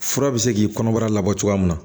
Fura bɛ se k'i kɔnɔbara la bɔ cogoya min na